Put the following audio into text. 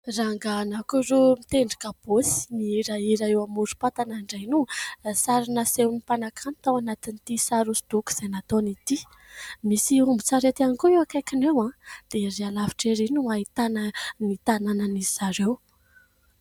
Rangahy anankiroa mitendry kabaosy, mihirahira eo amorom-patana indray no sary nasehon'ny mpanankanto tao anatin'itý sary hoso-doko izay nataony itý. Misy ombin-tsarety ihany koa eo akaikiny eo dia erý alavitra erý no ahitana ny tananan'izy ireo.